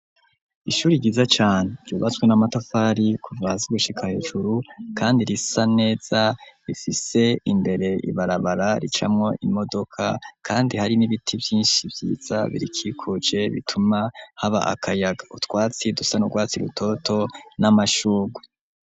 Ishuri ryiza cane, ryubatswe n'amatafari kuva hasi gushika hejuru, kandi risa neza, rifise imbere ibarabara ricamwo imodoka, kandi hari n'ibiti vyinshi vyiza birikikuje bituma haba akayaga, utwatsi dusa n'urwatsi rutoto n'amashugwe.